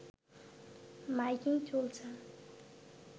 miking চলছে